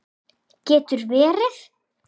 Getur verið?